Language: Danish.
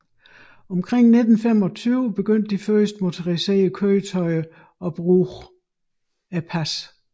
Omkring 1925 begyndte de første motoriserede køretøjer at bruge passet